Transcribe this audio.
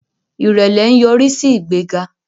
irẹlẹ nyorisi sí ìgbéga